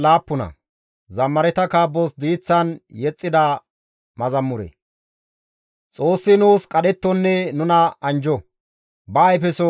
Xoossi nuus qadhettonne nuna anjjo; ba ayfeso nu bolla poo7iso.